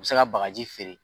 U bɛ se ka bagaji feere